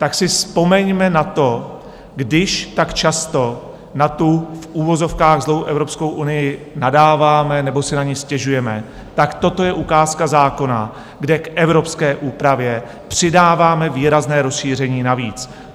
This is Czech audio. Tak si vzpomeňme na to, když tak často na tu v uvozovkách zlou Evropskou unii nadáváme nebo si na ni stěžujeme, tak toto je ukázka zákona, kde k evropské úpravě přidáváme výrazné rozšíření navíc.